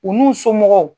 U n'u somɔgɔw